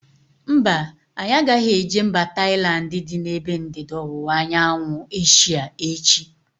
Mba, anyị agaghị eje mba Tailandi dị n'ebe ndịda ọwụwa anyanwụ Asia echi